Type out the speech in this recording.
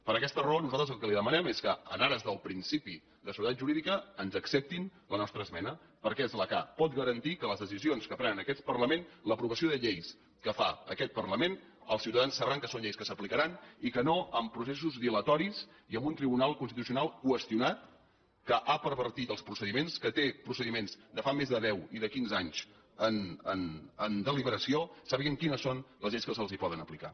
per aquesta raó nosaltres el que li demanem és que en ares del principi de seguretat jurídica ens acceptin la nostra esmena perquè és la que pot garantir que les decisions que es prenen en aquest parlament l’aprovació de lleis que fa aquest parlament els ciutadans sabran que són lleis que s’aplicaran i que no amb processos dilatoris i amb un tribunal constitucional qüestionat que ha pervertit els procediments que té procediments de fa més de deu i de quinze anys en deliberació sàpiguen quines són les lleis que se’ls poden aplicar